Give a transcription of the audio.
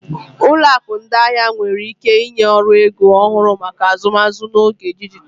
Ụlọ akụ ndị ahịa nwere ike ịnye ọrụ ego ọhụrụ maka azụmaahịa n'oge dijitalụ.